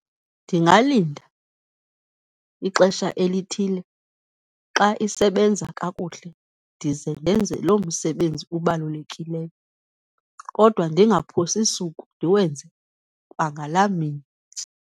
Ndingalinda ixesha elithile, xa isebenza kakuhle ndize ndenze loo msebenzi ubalulekileyo, kodwa ndingaphosi suku, ndiwenze kwangalaa mini.